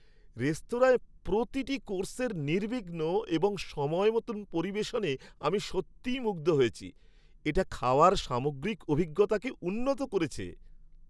রেস্তোরাঁয় প্রতিটি কোর্সের নির্বিঘ্ন এবং সময় মতো পরিবেশনে আমি সত্যিই মুগ্ধ হয়েছি; এটা খাওয়ার সামগ্রিক অভিজ্ঞতাকে উন্নত করেছে।